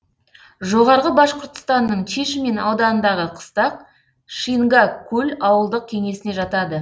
жоғарғы башқұртстанның чишмин ауданындағы қыстақ шингак куль ауылдық кеңесіне жатады